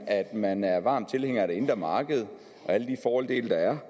at man er varm tilhænger af det indre marked og alle de fordele der er